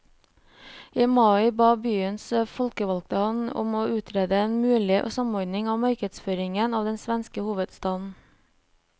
I mai ba byens folkevalgte ham om å utrede en mulig samordning av markedsføringen av den svenske hovedstaden.